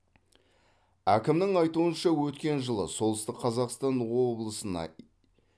әкімнің айтуынша өткен жылы солтүстік қазақстан облысына